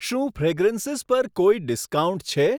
શું ફ્રેગરન્સીસ પર કોઈ ડિસ્કાઉન્ટ છે?